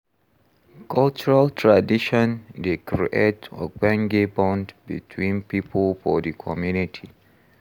Cultural tradition dey create ogbonge bond between pipo for di community.